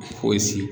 Fosi